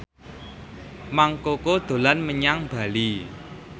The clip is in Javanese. Mang Koko dolan menyang Bali